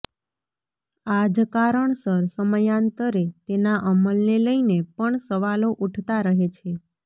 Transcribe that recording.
આ જ કારણસર સમયાંતરે તેના અમલને લઈને પણ સવાલો ઊઠતા રહે છે